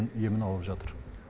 емін алып жатыр